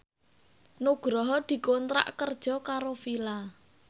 Nugroho dikontrak kerja karo Fila